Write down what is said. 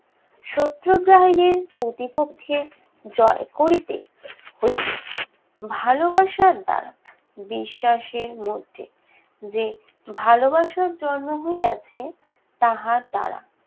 সত্যাগ্রহের প্রতিপক্ষকে জয় করিতে হইবে ভালোবাসার দ্বারা, বিশ্বাসের মধ্যে যে ভালোবাসার জন্ম হইয়াছে, তাহার দ্বারা।